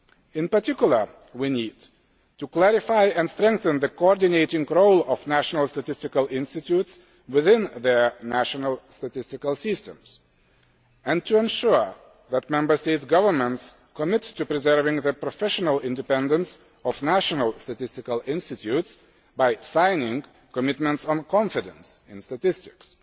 In particular, we need to clarify and strengthen the coordinating role of national statistical institutes within their national statistical systems and to ensure that Member State governments commit to preserving the professional independence of national statistical institutes, by signing Commitments on Confidence in Statistics.